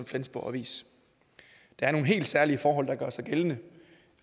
flensborg avis der er nogle helt særlige forhold der gør sig gældende